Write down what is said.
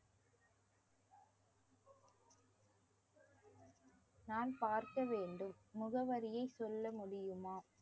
நான் பார்க்க வேண்டும் முகவரியை சொல்ல முடியுமா